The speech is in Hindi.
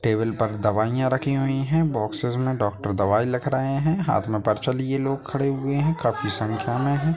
टेबल पर दवाईयां रखी हुई हैं बोक्सेस मे डॉक्टर दवाई लिख रहे हैं हाथ मे पर्चा लिए लोग खड़े हैं काफी संख्या मे हैं।